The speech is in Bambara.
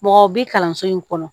Mɔgɔ bi kalanso in kɔnɔ